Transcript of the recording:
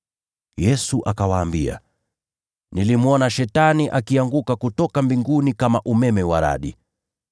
Yesu akawaambia, “Nilimwona Shetani akianguka kutoka mbinguni kama umeme wa radi.